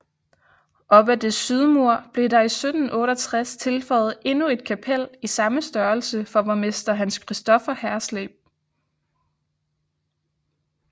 Op ad dets sydmur blev der i 1768 tilføjet endnu et kapel i samme størrelse for borgmester Hans Christopher Hersleb